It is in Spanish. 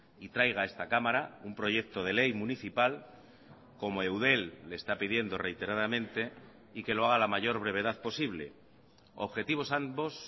y traiga a esta cámara un proyecto de ley municipal como eudel le está pidiendo reiteradamente y que lo haga a la mayor brevedad posible objetivos ambos